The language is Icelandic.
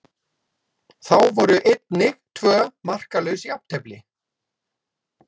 Þá voru einnig tvö markalaus jafntefli.